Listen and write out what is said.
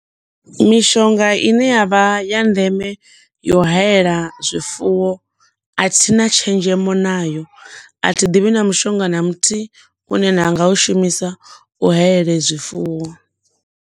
Mishonga ine yavha ya ndeme yo u hayela zwifuwo athina tshenzhemo nayo, a thi ḓivhi na mushonga na muthihi une na nga u shumisa u hayela zwifuwo.